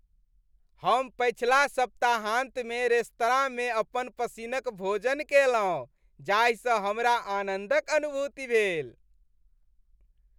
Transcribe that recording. हम पछिला सप्ताहान्तमे रेस्तराँमे अपन पसिन्नक भोजन कएलहुँ जाहिसँ हमरा आनन्दक अनुभूति भेल।